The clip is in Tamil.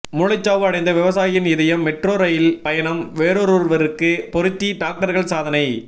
மூளைச்சாவு அடைந்த விவசாயின் இதயம் மெட்ரோ ரயிலில் பயணம் வேறொருவருக்கு பொருத்தி டாக்டர்கள் சாதனை